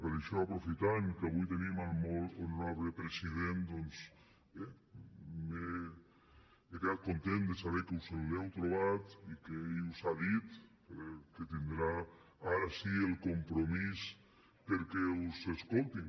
per això aprofitant que avui tenim el molt honorable president doncs m’he quedat content de saber que us l’heu trobat i que ell us ha dit que tindrà ara sí el compromís perquè us escoltin